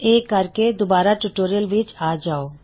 ਇਹ ਕਰਕੇ ਦੂਬਾਰਾ ਟਿਊਟੋਰਿਯਲ ਵਿੱਚ ਆ ਜਾਓ